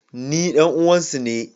Ni ɗan uwan su ne.